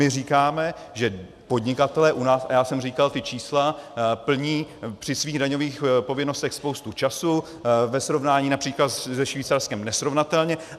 My říkáme, že podnikatelé u nás, a já jsem říkal ta čísla, plní při svých daňových povinnostech spoustu času, ve srovnání například se Švýcarskem nesrovnatelně.